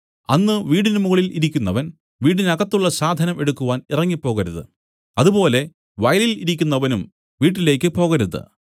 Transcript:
അന്ന് വീടിന് മുകളിൽ ഇരിക്കുന്നവൻ വീടിനകത്തുള്ള സാധനം എടുക്കുവാൻ ഇറങ്ങിപ്പോകരുത് അതുപോലെ വയലിൽ ഇരിക്കുന്നവനും വീട്ടിലേക്ക് പോകരുത്